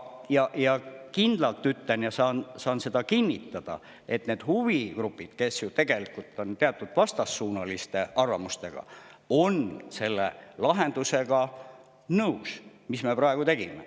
Aga kindlalt ütlen, saan seda kinnitada, et need huvigrupid, kes on tegelikult ju teatud vastassuunaliste arvamustega, on nõus selle lahendusega, mis me praegu tegime.